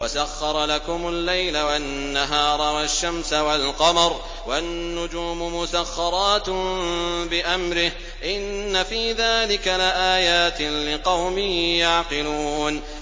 وَسَخَّرَ لَكُمُ اللَّيْلَ وَالنَّهَارَ وَالشَّمْسَ وَالْقَمَرَ ۖ وَالنُّجُومُ مُسَخَّرَاتٌ بِأَمْرِهِ ۗ إِنَّ فِي ذَٰلِكَ لَآيَاتٍ لِّقَوْمٍ يَعْقِلُونَ